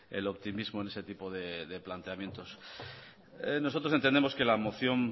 el optimismo en ese tipo de planteamientos nosotros entendemos que la moción